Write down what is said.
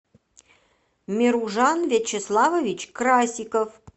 меружан вячеславович красиков